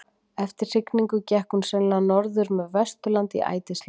Eftir hrygningu gekk hún sennilega norður með Vesturlandi í ætisleit.